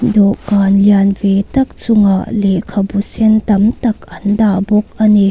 dawhkhan lian ve tak chungah lehkhabu sen tam tak an dah bawk a ni.